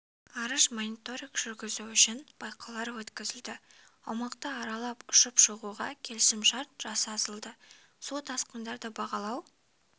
ғарыш мониторинг жүргізу үшін байқаулар өткізілді аумақты аралап ұшып шығуға келісім-шарт жасасылды су тасқынды бағалау